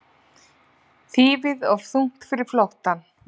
Þýfið of þungt fyrir flóttann